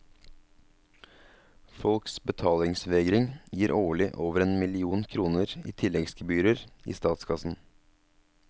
Folks betalingsvegring gir årlig over en million kroner i tilleggsgebyrer i statskassen.